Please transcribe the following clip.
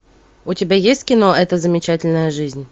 у тебя есть кино эта замечательная жизнь